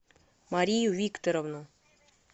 марию викторовну